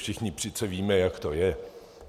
Všichni přece víme, jak to je.